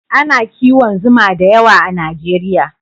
A na kiwon zuma da yawa a najeriya